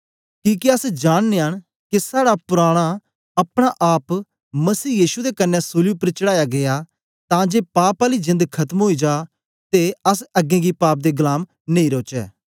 किके अस जाननयां न के साड़ा पुराना अपना आप मसीह यीशु दे कन्ने सूली उपर चढ़ाया गीया तां जे पाप आली जेंद खत्म ओई जा ओर अस अगें गी पाप दे गलाम नेई रौचै